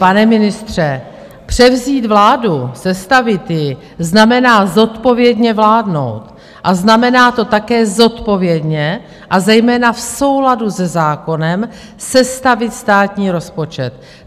Pane ministře, převzít vládu, sestavit ji, znamená zodpovědně vládnout a znamená to také zodpovědně, a zejména v souladu se zákonem sestavit státní rozpočet.